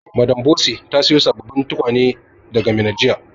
Madam Bose ta siyo sabbabin tukunya daga Minna jiya.